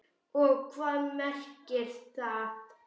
Og hvað merkir það?